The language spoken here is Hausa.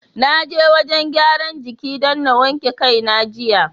Na je wajen gyaran jiki don na wanke kai na jiya.